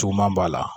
Cuguman b'a la